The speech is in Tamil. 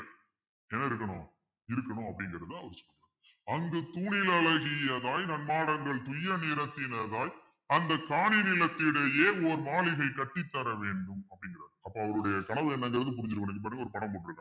இருக்கணும் அப்படிங்கிறதுதான் அவரு சொல்றங்க அந்த தூணில் அழகியதாய் நன் மாடங்கள் துய்ய நிறத்தினதாய் அந்த காணி நிலத்திலேயே ஓர் மாளிகை கட்டித்தர வேண்டும் அப்படிங்கிறார் அப்ப அவருடைய கனவு என்னங்கறது புரிஞ்சிருக்கணும்ன்னு ஒரு படம் போட்டிருக்காங்க